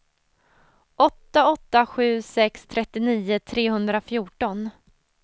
åtta åtta sju sex trettionio trehundrafjorton